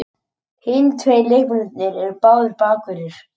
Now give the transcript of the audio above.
Hinir tveir leikmennirnir eru báðir bakverðir